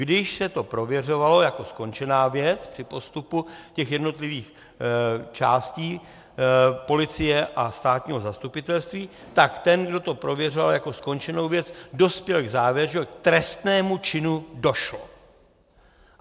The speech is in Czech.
Když se to prověřovalo jako skončená věc při postupu těch jednotlivých částí policie a státního zastupitelství, tak ten, kdo to prověřoval jako skončenou věc, dospěl k závěru, že k trestnému činu došlo.